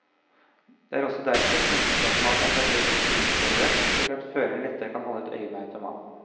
Det er også derfor stemplingsautomaten er plassert rett innenfor døren, slik at føreren lettere kan holde et øye med automaten.